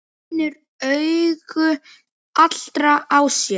Finnur augu allra á sér.